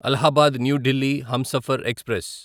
Allahabad new Delhi Humsafar express